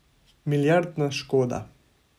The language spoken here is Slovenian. Milijardna škoda.